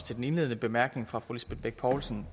til den indledende bemærkning fra fru lisbeth bech poulsen